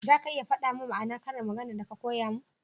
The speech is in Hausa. za ka iya fada mun ma'anar ƙarin magana da ka koya mun?